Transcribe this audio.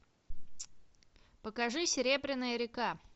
покажи серебряная река